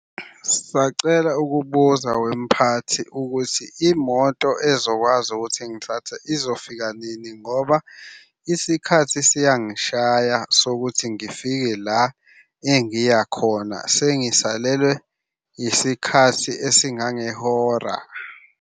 Sacela ukubuza wemphathi ukuthi imoto ezokwazi ukuthi ingithathe izofika nini ngoba isikhathi siyangishaya sokuthi ngifike la engiya khona. Sengisalelwe isikhathi esingangehora.